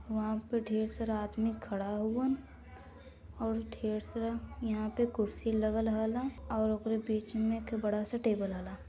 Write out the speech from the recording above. वहा पे ढेर सारा आदमी खड़ा हउवन और ढेर सारा यहा पे कुरसी लगल हला और ओकर बीच मे एक बडा सा टेबल हला|